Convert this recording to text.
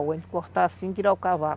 A gente corta assim, tira o cavaco.